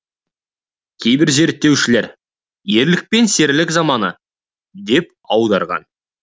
кейбір зерттеушілер ерлік пен серілік заманы деп аударған